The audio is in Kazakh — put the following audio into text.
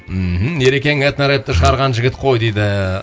мхм ерекең этно рэпті шығарған жігіт қой дейді